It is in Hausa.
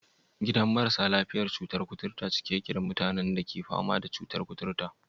Gidan marasa lafiya da cutar kuturta cike yake da mutanen da ke fama da cutar kuturta?